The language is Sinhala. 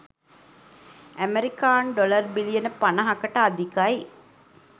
ඇමරිකානු ඩොලර් බිලියන 50කට අධිකයි.